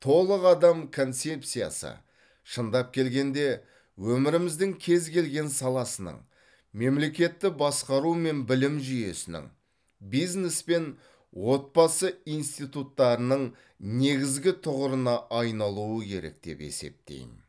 толық адам концепциясы шындап келгенде өміріміздің кез келген саласының мемлекетті басқару мен білім жүйесінің бизнес пен отбасы институттарының негізгі тұғырына айналуы керек деп есептеймін